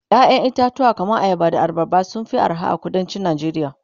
ƴaƴan itatuwa kaman ayaba da abarba sun Fi arha a kuduncin Nigeria